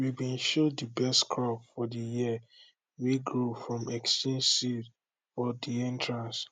we bin show de best crop for de year wey grow from exchanged seed for de entrance